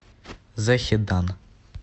захедан